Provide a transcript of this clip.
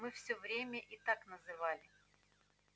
мы всё время и так называли